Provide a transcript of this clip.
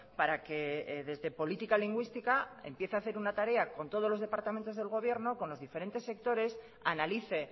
para que desde política lingüística empiece a hacer una tarea con todos los departamentos del gobierno con los diferentes sectores analice